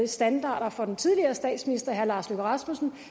standard for den tidligere statsminister herre lars løkke rasmussen